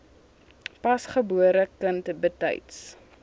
pasgebore kind betyds